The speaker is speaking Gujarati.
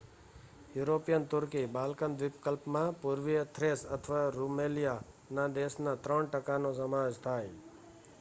યુરોપિયન તુર્કી બાલ્કન દ્વીપકલ્પમાં પુર્વીય થ્રેસ અથવા રૂમેલિયા માં દેશનાં 3% નો સમાવેશ થાય